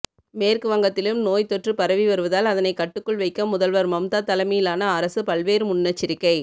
மேற்கு வங்கத்திலும் நோய் தொற்று பரவி வருவதால் அதனை கட்டுக்குள் வைக்க முதல்வர் மம்தா தலைமையிலான அரசு பல்வேறு முன்னெச்சரிக்கை